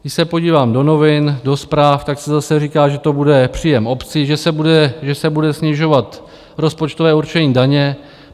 Když se podívám do novin, do zpráv, tak se zase říká, že to bude příjem obcí, že se bude snižovat rozpočtové určení daně.